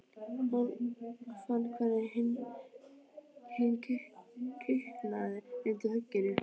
Hann fann hvernig hinn kiknaði undan högginu.